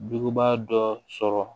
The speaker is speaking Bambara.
Bubaga dɔ sɔrɔ